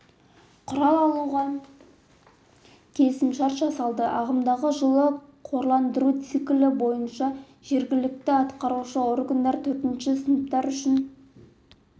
құрал алуға келісімшарт жасалды ағымдағы жылы қорландыру циклі бойынша жергілікті атқарушы органдар төртінші сыныптар үшін